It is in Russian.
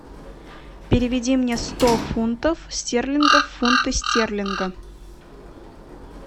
переведи мне сто фунтов стерлингов в фунты стерлинга